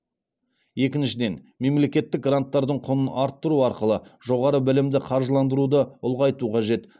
екіншіден мемлекеттік гранттардың құнын арттыру арқылы жоғары білімді қаржыландыруды ұлғайту қажет